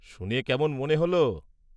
শুনে কেমন মনে হল?